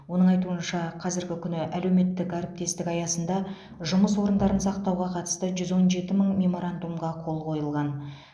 оның айтуынша қазіргі күні әлеуметтік әріптестік аясында жұмыс орындарын сақтауға қатысты жүз он жеті мың меморандумға қол қойылған